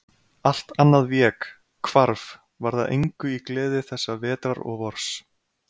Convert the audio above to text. Allt annað vék, hvarf, varð að engu í gleði þessa vetrar og vors.